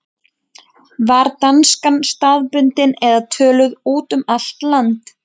Var danskan staðbundin eða töluð út um allt land?